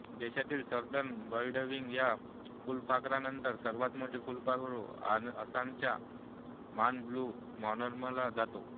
देशातील southern birdwing या फुलपाखरानंतर सर्वात मोठे फुलपाखरु असण्याचा मान ब्लू मॉरमॉनला जातो